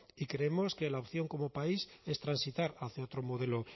y creemos que la opción como país es transitar hacia otro modelo